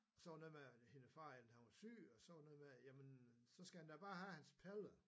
Så var det noget med at hendes far han var syg og så var det noget med jamen så skal han da bare have hans pille